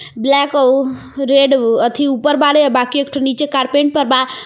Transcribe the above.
Black आ-उह- red अथी उपर बाड़े आ बाकी एकठो नीचे कार्पेंट पर बा.